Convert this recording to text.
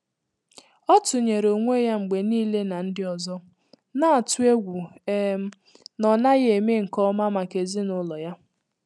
Ọ́ tụ́nyéré ónwé yá mgbè níílé nà ndị́ ọzọ, nà-àtụ́ égwú um nà ọ nàghị́ èmé nké ọmà màkà èzínụ́lọ yá.